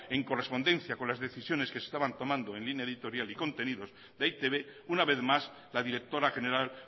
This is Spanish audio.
en correspondencia con las decisiones que se estaban tomando en línea editorial y contenido de e i te be una vez más la directora general